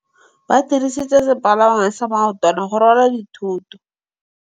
Ba dirisitse sepalangwasa maotwana go rwala dithôtô.